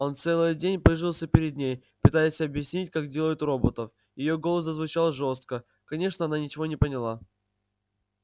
он целый день пыжился перед ней пытаясь объяснить как делают роботов её голос зазвучал жёстко конечно она ничего не поняла